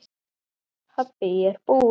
Pabbi ég er búinn!